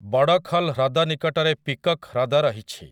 ବଡ଼ଖଲ୍ ହ୍ରଦ ନିକଟରେ ପିକକ୍ ହ୍ରଦ ରହିଛି ।